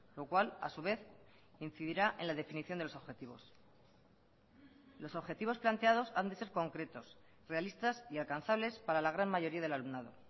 lo cual a su vez incidirá en la definición de los objetivos los objetivos planteados han de ser concretos realistas y alcanzables para la gran mayoría del alumnado